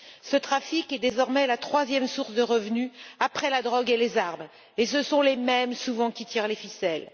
Ce trafic est désormais leur troisième source de revenus, après la drogue et les armes, et ce sont les mêmes, souvent, qui tirent les ficelles.